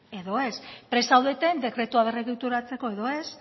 edo ez prest zaudeten dekretua berregituratzeko edo ez